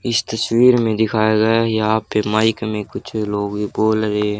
इस तस्वीर में दिखाया गया है यहा पे माइक में कुछ लोग ये बोल रहे--